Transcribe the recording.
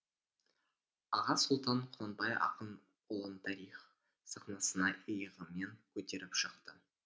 аға сұлтан құнанбай ақын ұлын тарих сахнасына иығымен көтеріп шықты